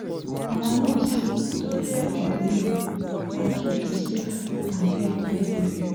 our nurse say to prepare for delivery na key to safe and healthy delivery